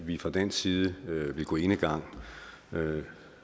vi fra dansk side vil gå enegang